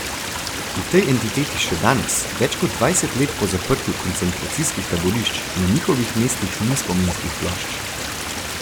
V tej entiteti še danes, več kot dvajset let po zaprtju koncentracijskih taborišč, na njihovih mestih ni spominskih plošč.